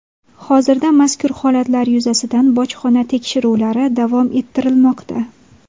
Hozirda mazkur holatlar yuzasidan bojxona tekshiruvlari davom ettirilmoqda.